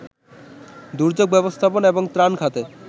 দুর্যোগ ব্যবস্থাপনা এবং ত্রাণ খাতে